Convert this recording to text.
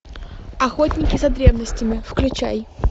охотники за древностями включай